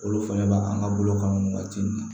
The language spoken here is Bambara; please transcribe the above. Olu fɛnɛ b'a kan ka bolo kan ŋɔni waati min na